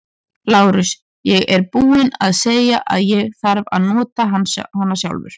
LÁRUS: Ég er búinn að segja að ég þarf að nota hana sjálfur.